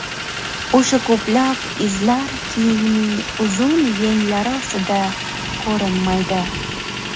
O‘sha ko‘plab izlar kiyimining uzun yenglari ostida ko‘rinmaydi.